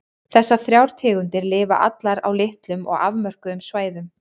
Þessar þrjár tegundir lifa allar á litlum og afmörkuðum svæðum.